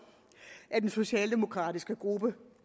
at den socialdemokratiske gruppe